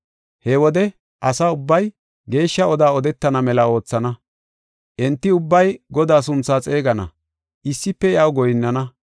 “He wode asa ubbay geeshsha oda odetana mela oothana. Enti ubbay Godaa sunthaa xeegana; issife iyaw goyinnana.